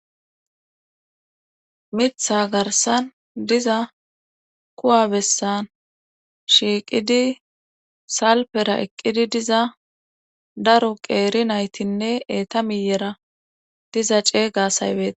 Mitha garssan diza kuwa bessan shiiqidi salpera eqqidi diza daro qeeri naytinne eeta miyyera diza ceeyga asay bete.